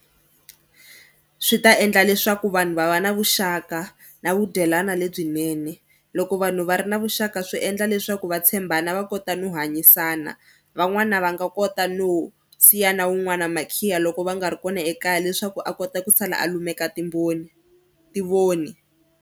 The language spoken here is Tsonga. Swi ta endla leswaku vanhu va va na vuxaka na vu dyelwani lebyinene. Loko vanhu va ri na vuxaka swi endla leswaku va tshembana va kota no hanyisana. Van'wana va nga kota no siya na wun'wana makhiya loko va nga ri kona ekaya leswaku a kota ku sala a lumeka timboni tivoni.